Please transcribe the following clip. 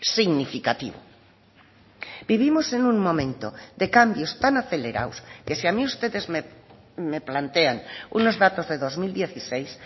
significativo vivimos en un momento de cambios tan acelerados que si a mí ustedes me plantean unos datos de dos mil dieciséis